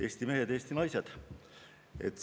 Eesti mehed, Eesti naised!